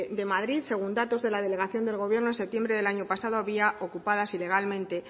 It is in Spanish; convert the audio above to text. de madrid según datos de la delegación del gobierno en septiembre del año pasado había ocupadas ilegalmente